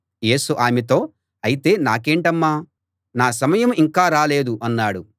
యేసు ఆమెతో అయితే నాకేంటమ్మా నా సమయం ఇంకా రాలేదు అన్నాడు